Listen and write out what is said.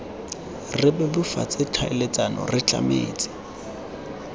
re bebofatse tlhaeletsano re tlametse